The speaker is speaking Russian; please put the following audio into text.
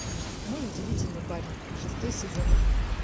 мой удивительный парень шестой сезон